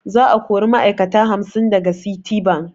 Za a kori ma'ai'kata hamsin daga Citibank.